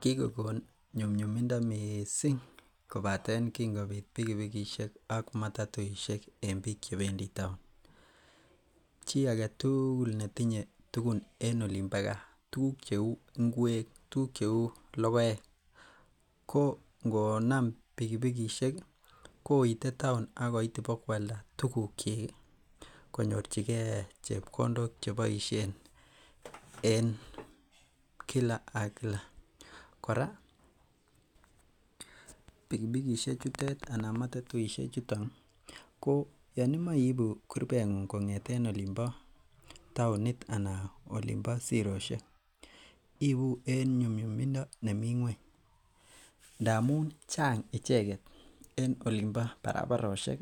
Kikokon nyumnyumindo missing kobaten kin kobit pikipikisiek ak matatuisiek en biik chebendi taon chi aketugul netinye tugun en olin bo gaa tuguk cheu ngwek tuguk cheu logoek ko ngonam pikipikisiek ih koite taon akoit bakoalda tuguk kyik konyorchigee chepkondok cheboisien en kila ak kila. Kora pikipikisiek chutet anan matatuisiek chuton ko yan imoe iibu kurbetng'ung kong'eten olin bo taonit anan olin bo sirosiek iibu en nyumnyumindo nemii ng'weny ndamun chang icheket en olin bo barabarosiek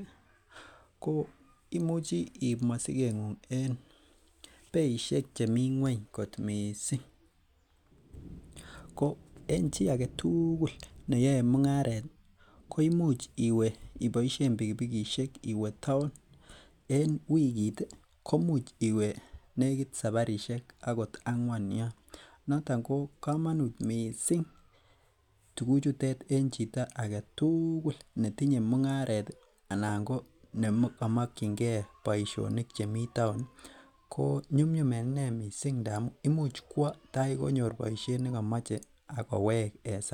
ko imuchi iib mosiket ng'ung en beisiek chemii ng'weny kot missing ko en chi aketugul neyoe mung'aret ih koimuch iwe iboisien pikipikisiek iwe taon en wikit ko imuch iwe nekit saparisiek akot ang'wan yon. Noton ko bo komonut missing tuguk chutet en chito aketugul netinye mung'aret ih anan ko neko mokyin gee boisionik chemii taon ih ko nyumnyum en inee missing amun imuch kwo tai konyor boisiet nekomoche ak kowek en sait